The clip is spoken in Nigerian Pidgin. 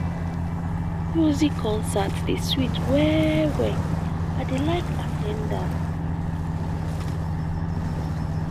music concert dey sweet well-well i dey like at ten d am.